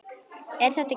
Er þetta gína?